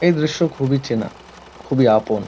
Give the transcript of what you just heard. এই দৃশ্য খুবই চেনা খুবই আপন।